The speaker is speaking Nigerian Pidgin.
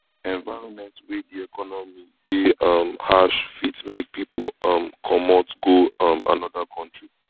environment wey di economy de um harsh fit make pipo um comot go um another country